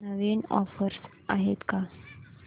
नवीन offers आहेत का